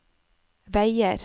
veier